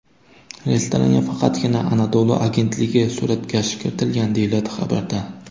Restoranga faqatgina Anadolu agentligi suratkashi kiritilgan”, deyiladi xabarda.